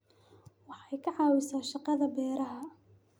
Waxay ka caawisaa shaqada beeraha.